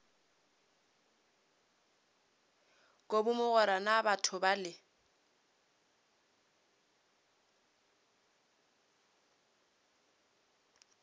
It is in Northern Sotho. kobi mogwera na batho bale